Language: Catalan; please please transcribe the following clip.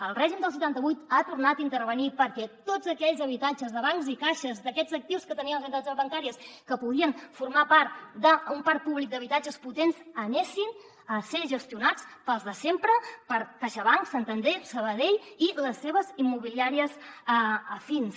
el règim del setanta vuit ha tornat a intervenir perquè tots aquells habitatges de bancs i caixes d’aquests actius que tenien les entitats bancàries que podien formar part d’un parc públic d’habitatges potent fossin gestionats pels de sempre per caixabank santander sabadell i les seves immobiliàries afins